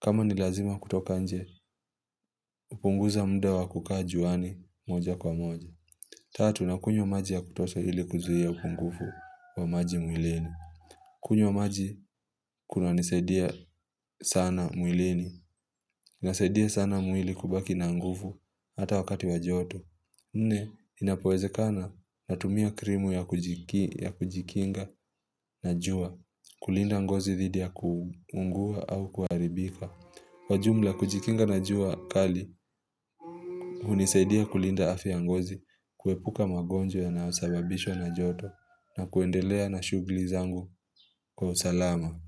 Kama ni lazima kutoka nje, kpunguza muda wa kukaa juani moja kwa moja. Tatu, nakunywa maji ya kutosha ili kuzuhia upungufu wa maji mwilini. Kunywa maji, kuna nisaidia sana mwilini. Nasaidia sana mwili kubaki na nguvu hata wakati wa joto. Nne, inapo wezekana natumia krimu ya kujikinga na jua kulinda ngozi dhidi ya kuungua au kuharibika. Kwa jumla kujikinga na jua kali, unisaidia kulinda afya ya ngozi, kuepuka magonjwa yanayosababishwa na joto na kuendelea na shugli zangu kwa usalama.